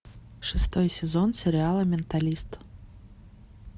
шестой сезон сериала менталист